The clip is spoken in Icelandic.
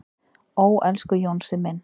"""Ó, elsku Jónsi minn."""